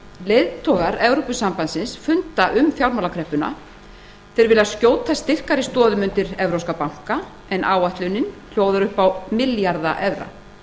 leiðtogar evrópusambandsins funda um fjármálakreppuna þeir vilja skjóta styrkari stoðum undir evrópska banka en áætlunin hljóðar upp á milljarða evra